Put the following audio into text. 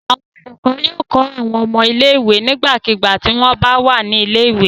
Àwọn olùkọ́ yóò kọ́ àwọn ọmọ ilé-ìwé nígbàkigbà tí wọ́n bà wà ní ilé-ìwé.